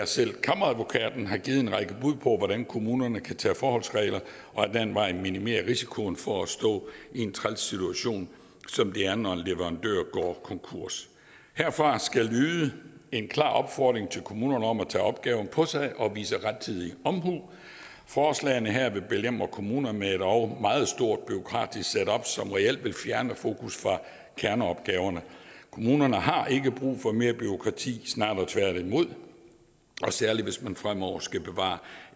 selv kammeradvokaten har givet en række bud på hvordan kommunerne kan tage forholdsregler og ad den vej minimere risikoen for at stå i en træls situation som det er når en leverandør går konkurs herfra skal lyde en klar opfordring til kommunerne om at tage opgaven på sig og vise rettidig omhu forslagene her vil belemre kommunerne med et endog meget stort bureaukratisk setup som reelt vil fjerne fokus fra kerneopgaverne kommunerne har ikke brug for mere bureaukrati snarere tværtimod særlig hvis man fremover skal bevare